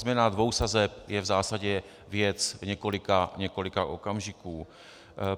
Změna dvou sazeb je v zásadě věc několika okamžiků.